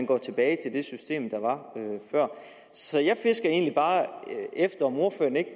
gå tilbage til det system der var før så jeg fisker egentlig bare efter om ordføreren ikke